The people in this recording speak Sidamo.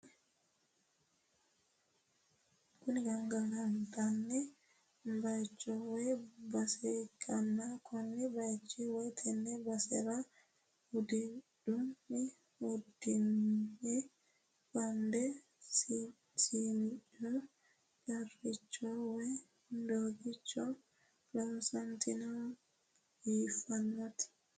Kuni gangalantanni bayiicho woy base ikkanna kone bayicho woyi tenne basera hudhunni hudhine bande shimicco qarricho woy doogicho loonsooniti biifannotte.